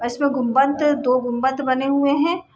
और इसमें गुंबत दो गुंबत बने हुए हैं।